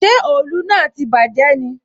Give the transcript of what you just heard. Ṣé òòlù náà tí bàjé ni?